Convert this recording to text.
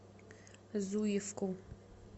зуевку